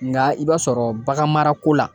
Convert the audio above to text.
Nka i b'a sɔrɔ bagan mara ko la